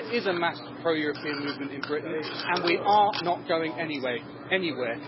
There is a mass pro-European movement in Britain and we are not going anywhere.